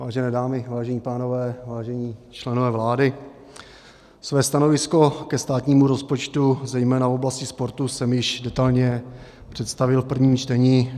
Vážené dámy, vážení pánové, vážení členové vlády, své stanovisko ke státnímu rozpočtu zejména v oblasti sportu jsem již detailně představil v prvním čtení.